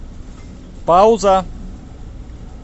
пауза